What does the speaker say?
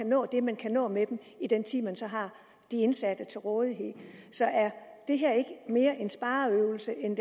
nå det man kan nå med dem i den tid man så har de indsatte til rådighed så er det her ikke mere en spareøvelse end